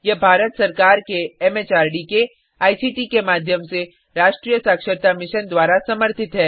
यह भारत सरकार के एमएचआरडी के आईसीटी के माध्यम से राष्ट्रीय साक्षरता मिशन द्वारा समर्थित है